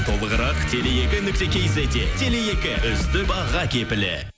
толығырық теле екі нүкте кизетте теле екі үздік баға кепілі